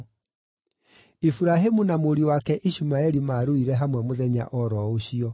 Iburahĩmu na mũriũ wake Ishumaeli maaruire hamwe mũthenya o ro ũcio.